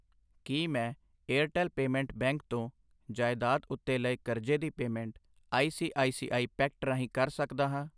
ਕੀ ਮੈਂ Airtel payment bank ਤੋਂ ਜਾਇਦਾਦ ਉੱਤੇ ਲਏ ਕਰਜ਼ੇ ਦੀ payment I C I C I packet ਰਾਹੀਂ ਕਰ ਸਕਦਾ ਹਾਂ